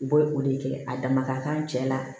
U bɛ o de kɛ a dama ka kan cɛ la